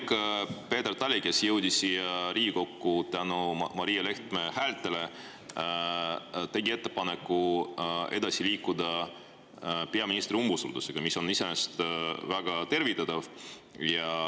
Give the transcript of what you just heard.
Minu arvates see, et kolleeg Peeter Tali, kes jõudis siia Riigikokku tänu Johanna-Maria Lehtme häältele, tegi ettepaneku edasi liikuda peaministri umbusaldusega, on iseenesest väga tervitatav.